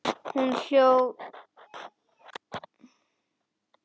Hún hló léttum hlátri.